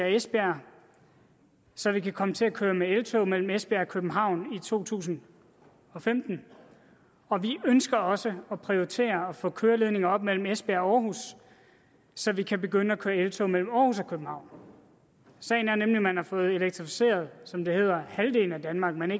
esbjerg så vi kan komme til at køre med eltog mellem esbjerg og københavn i to tusind og femten vi ønsker også at prioritere at få køreledninger op mellem esbjerg og aarhus så vi kan begynde at køre eltog mellem aarhus og københavn sagen er nemlig at man har fået elektrificeret som det hedder halvdelen af danmark men